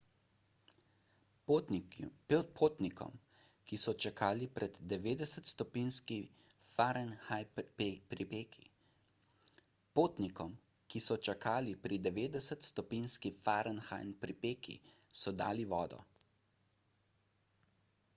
potnikom ki so čakali pri 90-stopinjski f pripeki so dali vodo